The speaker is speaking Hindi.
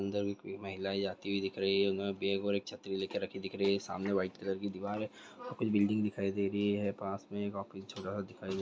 बंदर की महिला जाती दिख रही है। छतरी लेकर राखी दिख रही है सामने व्हाइट कलर की दीवार हे। कुछ बिल्डिंग दिखाई दे रही है पास में काफी छोटा सा दिखाइ--